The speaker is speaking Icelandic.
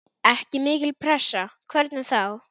Ekki mikil pressa, hvernig þá?